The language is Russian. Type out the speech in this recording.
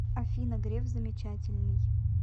афина греф замечательный